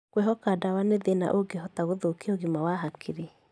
Kwĩhoka ndawa nĩ thĩna ũngĩhota gũthũkia ũgima wa hakiri.